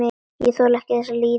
Ég þekki þessa líðan.